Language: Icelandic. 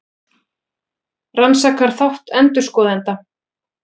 Rannsakar þátt endurskoðenda